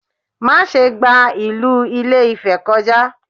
Má ṣe gba ìlú Ìlé-Ifẹ̀ kọjá!